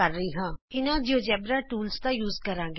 ਅਸੀਂ ਇਹਨਾਂ GeoGebra tools ਦਾ ਇਸਤੇਮਾਲ ਕਰਾਂਗੇ